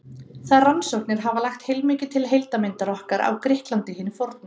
þær rannsóknir hafa lagt heilmikið til heildarmyndar okkar af grikklandi hinu forna